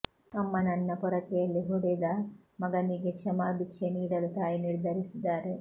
ಅಮ್ಮನನ್ನ ಪೊರಕೆಯಲ್ಲಿ ಹೊಡೆದ ಮಗನಿಗೆ ಕ್ಷಮಾ ಬಿಕ್ಷೆ ನೀಡಲು ತಾಯಿ ನಿರ್ಧರಿಸಿದ್ದಾರೆ